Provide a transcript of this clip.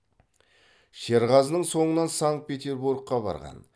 шерғазының соңынан санкт петербургқа барған